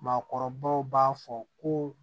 Maakɔrɔbaw b'a fɔ ko